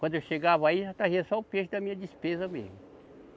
Quando eu chegava aí, já trazia só o peixe da minha despesa mesmo.